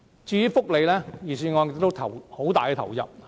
至於福利問題，預算案對此亦有很大投入。